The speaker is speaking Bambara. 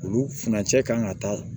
Olu furancɛ kan ka ta